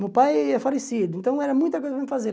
Meu pai é falecido, então era muita coisa para eu fazer.